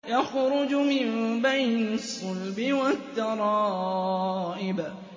يَخْرُجُ مِن بَيْنِ الصُّلْبِ وَالتَّرَائِبِ